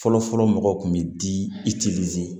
Fɔlɔfɔlɔ mɔgɔw kun bɛ di